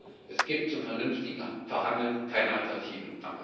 Also Es gibt zum vernünftigen Verhandeln keine Alternative.